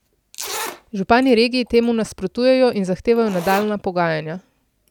Župani regije temu nasprotujejo in zahtevajo nadaljnja pogajanja.